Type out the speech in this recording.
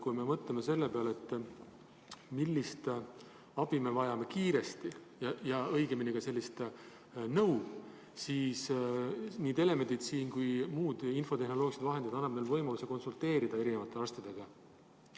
Kui me mõtleme selle peale, millist abi ja õigemini ka nõu me kiiresti vajame, siis nii telemeditsiin kui ka muud infotehnoloogilised vahendid annavad meile võimaluse konsulteerida eri arstidega.